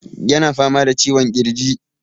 Yana fama da ciwon ƙirji.